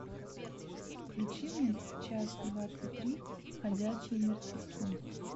включи мне часть двадцать три ходячие мертвецы